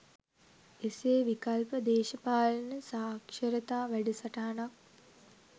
එසේ විකල්ප දේශපාලන සාක්ෂරතා වැඩසටහනක්